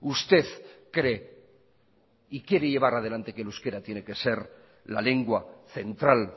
usted cree y quiere llevar adelante que el euskera tiene que ser la lengua central